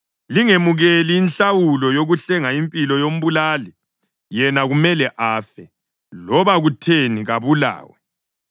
Lingemukeli inhlawulo yokuhlenga impilo yombulali, yena kumele afe, loba kutheni kabulawe.